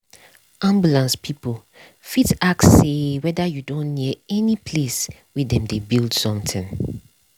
ambulance people fit ask say wether you don near any place wey dem dey build somthing.